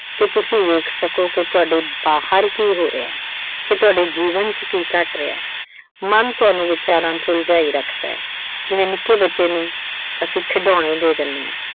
ਕਿ ਤੁਸੀਂ ਵੇਖ ਸਕੋ ਕਿ ਤੁਹਾਡੇ ਬਾਹਰ ਕੀ ਹੋ ਰਿਹਾ, ਕੀ ਤੁਹਾਡੇ ਜੀਵਨ ਚ ਕੀ ਘਟ ਰਿਹਾ। ਮਨ ਤੁਹਾਨੂੰ ਵਿਚਾਰਾਂ ਚ ਉਲਝਾਈ ਰੱਖਦਾ, ਜਿਵੇਂ ਨਿੱਕੇ ਬੱਚੇ ਨੂੰ ਅਸੀਂ ਖਿਡੌਣੇ ਦੇ ਦਿੰਨੇ ਆਂ।